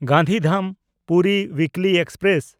Gandhidham Puri ᱩᱭᱤᱠᱞᱤ express